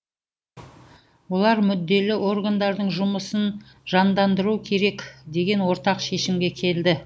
олар мүдделі органдардың жұмысын жандандыру керек деген ортақ шешімге келді